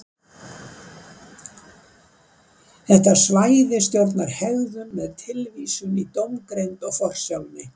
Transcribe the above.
þetta svæði stjórnar hegðun með tilvísun í dómgreind og forsjálni